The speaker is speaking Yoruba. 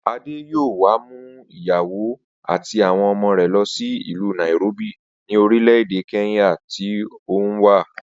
Adé yóò wá mú ìyàwó àti àwo̩n ọmọ rè̩ lo̩ sí ìlú Nairobi ní orílè̩-èdè Kenya tí òun wà